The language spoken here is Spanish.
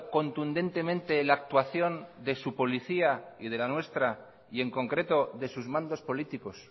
contundentemente la actuación de su policía y de la nuestra y en concreto de sus mandos políticos